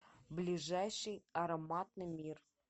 ближайший ароматный мир